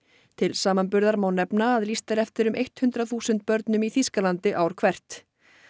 til samanburðar má nefna að lýst er eftir um hundrað þúsund börnum í Þýskalandi ár hvert